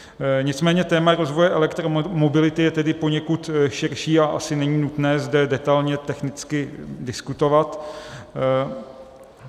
Nicméně téma rozvoje elektromobility je tedy poněkud širší a asi není nutné zde detailně technicky diskutovat.